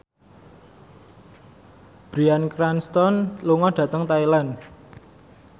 Bryan Cranston lunga dhateng Thailand